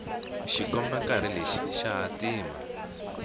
xikombankarhi lexi xa hatima